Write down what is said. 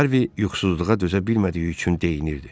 Harvi yuxusuzluğa dözə bilmədiyi üçün deyinirdi.